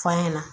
F'a ɲɛna